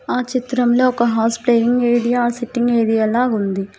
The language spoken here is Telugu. ఆ చిత్రంలో ఒక హౌస్ ప్లేయింగ్ ఏరియా సిట్టింగ్ ఏది ఎలా ఉంది.